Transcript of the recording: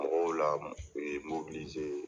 Mɔgɔw la